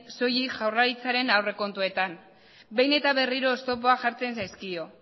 soilik jaurlaritzaren aurrekontuetan behin eta berriro oztopoak jartzen zaizkio